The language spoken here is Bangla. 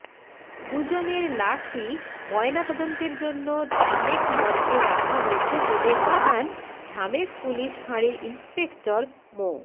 দুজনের লাশই ময়নাতদন্তের জন্য ঢামেক মর্গে রাখা হয়েছে বলে জানান ঢামেক পুলিশ ফাঁড়ির ইন্সপেক্টর মো